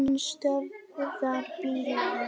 Hann stöðvar bílinn.